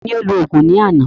Taani ó lò òògùn ní àná?